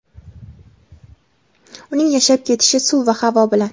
uning yashab ketishi suv va havo bilan.